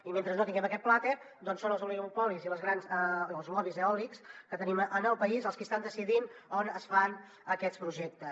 i mentre no tinguem aquest plater són els oligopolis i els lobbys eòlics que tenim en el país els qui estan decidint on es fan aquests projectes